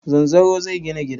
Zanzaro zai gina gida.